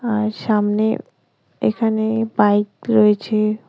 আর সামনে এখানে বাইক রয়েছে।